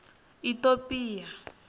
itopia